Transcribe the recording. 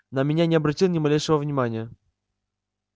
на меня не обратил ни малейшего внимания